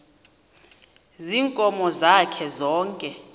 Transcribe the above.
ziinkomo zakhe zonke